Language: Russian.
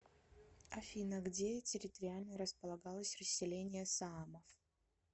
афина где территориально располагалось расселение саамов